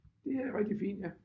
Det er rigtig fint ja